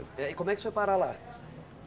Eh e como é que você foi parar lá?